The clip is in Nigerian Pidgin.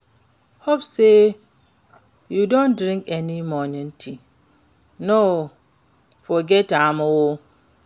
Hope say you don drink your morning tea, no forget am o.